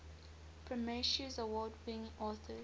prometheus award winning authors